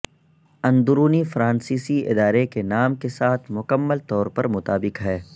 اندرونی فرانسیسی ادارے کے نام کے ساتھ مکمل طور پر مطابق ہے